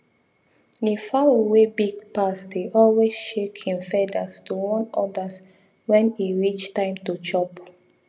the fowl wey big pass dey always shake him feathers to warn others when e reach time to chop